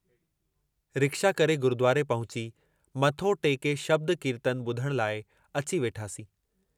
Rickshaw करे गुरुद्वारे पहुची, मथो टेके शब्द कीर्तन बुधण लाइ अची वेठासीं।